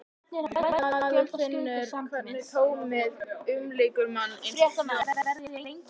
Maður finnur hvernig tómið umlykur mann, eins og hljóð.